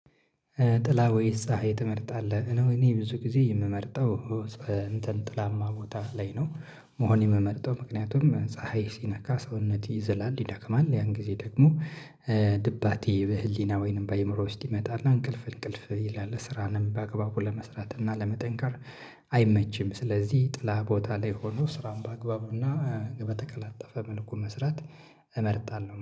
ጥላ ወይስ ፀሀይ ትመርጣለህ? እኔ ብዙ ጊዜ የምመርጠው እንትን ጥላማ ቦታ ላይ ነው መሆኔ ምመርጠው ምክንያቱም ፀሀይ ሲነካ ሰውነት ይዘላል፣ ይደክማል ያን ጊዜ ደግሞ ድባቴ በህሊና ወይንም በአእምሮ ውስጥ ይመጣል እና እንቅልፍ እንቅልፍ ይላል ስራንም በአግባቡ ለመስራት እና ለመጠንከር አይመችም ስለዚህ ጥላ ቦታ ላይ ሆኖ ስራን በአግባቡና በተቀላጠፈ መልኩ መስራት እመርጣለሁ።